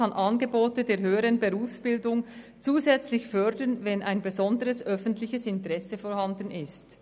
] kann Angebote der höheren Berufsbildung zusätzlich fördern, wenn ein besonderes öffentliches Interesse vorhanden ist.